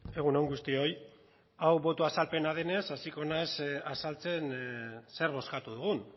egun on guztioi hau boto azalpena denez hasiko naiz azaltzen zer bozkatu dugun